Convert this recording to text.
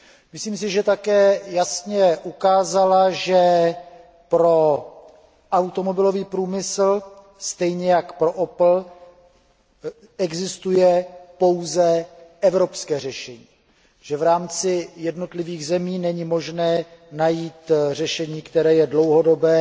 Myslím si, že také jasně ukázala, že pro automobilový průmysl stejně jako pro Opel existuje pouze evropské řešení, že v rámci jednotlivých zemí není možné najít řešení, které je dlouhodobé